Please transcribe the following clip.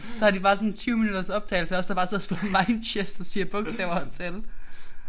Så har de bare sådan en 20 minutters optagelse af os der bare sidder og spiller mind chess og siger bogstaver og tal